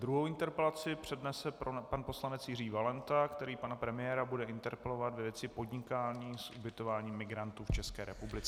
Druhou interpelaci přednese pan poslanec Jiří Valenta, který pana premiéra bude interpelovat ve věci podnikání s ubytováním migrantů v České republice.